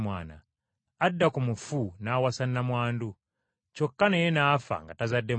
Adda ku mufu n’awasa nnamwandu; kyokka naye n’afa nga tazadde mwana.